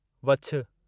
वछु